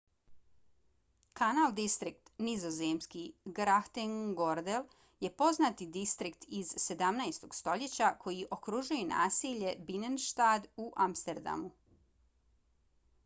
kanal distrikt nizozemski: grachtengordel je poznati distrikt iz 17. stoljeća koji okružuje naselje binnenstad u amsterdamu